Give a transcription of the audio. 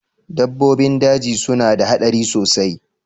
Dabbobin daji suna da haɗari sosai